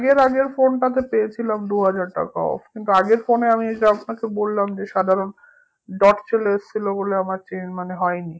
আগের আগের phone টা তে পেয়েছিলাম দুহাজার টাকা off কিন্তু আগের phone এ আমি এই যে আপনাকে বললাম যে সাধারণ dot চলে এসেছিলো বলে আমার change মানে হয়নি